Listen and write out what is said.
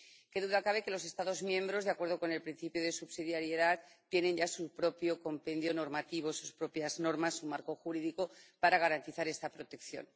Qué duda cabe de que los Estados miembros, de acuerdo con el principio de subsidiariedad, tienen ya su propio compendio normativo, sus propias normas, su marco jurídico para garantizar esta protección.